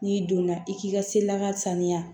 N'i donna i k'i ka se laka saniya